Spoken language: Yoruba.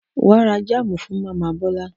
Wà á ra jámù fún màmá Bọ́lá.